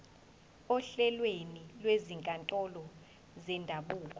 ohlelweni lwezinkantolo zendabuko